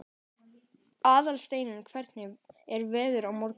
Aðalsteinunn, hvernig er veðrið á morgun?